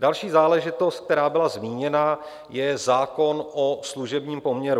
Další záležitost, která byla zmíněna, je zákon o služebním poměru.